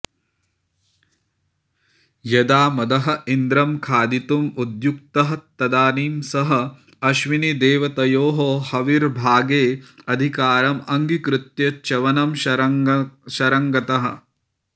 यदा मदः इन्द्रं खादितुम् उद्युक्तः तदानीं सह अश्विनीदेवतयोः हविर्भागे अधिकारम् अङ्गीकृत्य च्यवनं शरणङ्गतः